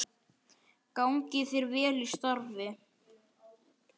Gangi þér vel í starfi.